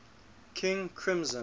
king crimson